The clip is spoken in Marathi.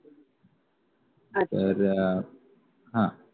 तर हा